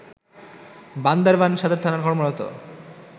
বান্দরবান সদর থানায় কর্মরত